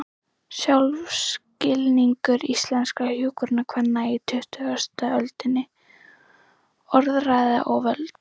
Sjálfsskilningur íslenskra hjúkrunarkvenna á tuttugustu öldinni: Orðræða og völd.